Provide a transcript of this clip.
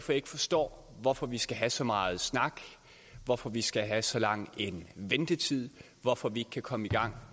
jeg ikke forstår hvorfor vi skal have så meget snak hvorfor vi skal have så lang en ventetid hvorfor vi ikke kan komme i gang